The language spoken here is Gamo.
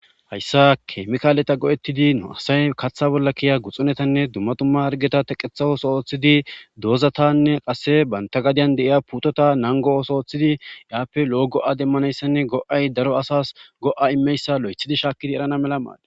hayssa keemkaaleta go7ettidi nu asay kaththa bolla kiya guxunetanne dummatumma argeta teqethaoso oooththidi doozatanne qasse banta gadiyan deiya putota nango ooso ooththidi yaappe loo go7a demmanayssanne go7ay daro asas go7a immeyssa lo7ethidi shaakkidi erana mela maala